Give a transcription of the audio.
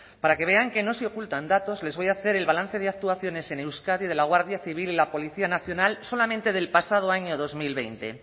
para que vean que no se ocultan datos les voy a hacer el balance de actuaciones en euskadi de la guardia civil y la policía nacional solamente del pasado año dos mil veinte